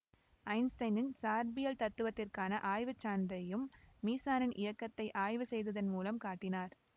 ஐன்ஸ்டைனின் சார்பியல் தத்துவத்திற்கான ஆய்வுச்சான்றையும் மீசானின் இயக்கத்தை ஆய்வு செய்ததன் மூலம் காட்டினார்